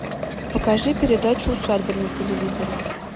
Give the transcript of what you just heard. покажи передачу усадьба на телевизоре